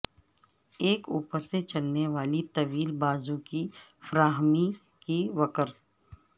ایک اوپر سے چلنے والی طویل بازو کی فراہمی کی وکر